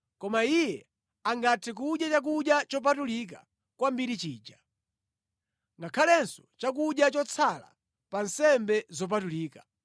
Koma iye angathe kudya chakudya chopatulika kwambiri chija, ngakhalenso chakudya chotsala pa nsembe zopatulika.